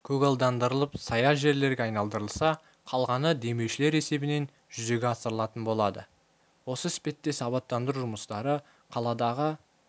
көгалдандырылып сая жерлерге айналдырылса қалғаны демеушілер есебінен жүзеге асырлатын болады осы іспеттес абаттандыру жұмыстары қаладағы